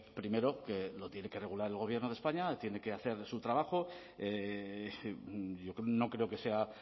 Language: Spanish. primero que lo tiene que regular el gobierno de españa tiene que hacer su trabajo no creo que sea